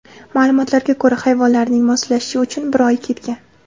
Ma’lumotlarga ko‘ra, hayvonlarning moslashishi uchun bir oy ketgan.